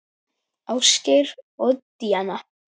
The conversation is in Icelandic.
Ásgeir og Díana.